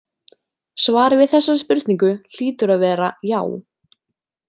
Svarið við þessari spurningu hlýtur að vera „já“.